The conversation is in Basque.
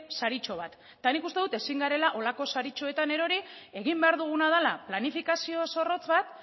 saritxo bat eta nik uste dut ezin garela horrelako saritxoetan erori egin behar duguna dela planifikazio zorrotz bat